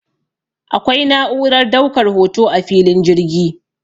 akwai na'urar daukar hoto a filin jirgi